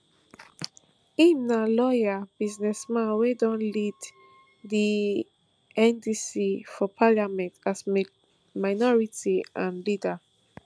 im na lawyer businessman wia don lead di ndc for parliament as minority and leader